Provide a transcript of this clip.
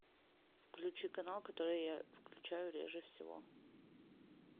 включи канал который я включаю реже всего